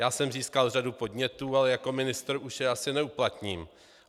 Já jsem získal řadu podnětů, ale jako ministr už je asi neuplatním.